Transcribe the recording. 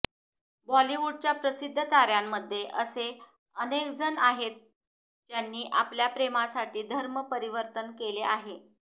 बॉलिवूडच्या प्रसिद्ध ताऱ्यांमध्ये असे अनेकजण आहेत ज्यांनी आपल्या प्रेमासाठी धर्मपरिवर्तन केले आहे